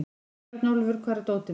Björnólfur, hvar er dótið mitt?